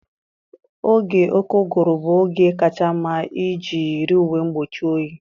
Oge oké ụgụrụ bụ oge kacha mma iji yiri uwe mgbochi oyi.